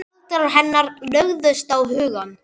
Galdrar hennar lögðust á hugann.